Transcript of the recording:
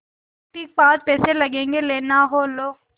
ठीकठाक पाँच पैसे लगेंगे लेना हो लो